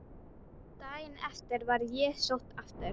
Daginn eftir var ég sótt aftur.